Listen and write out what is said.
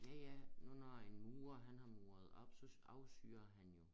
Ja ja du når en murer han har muret op så afsyrer han jo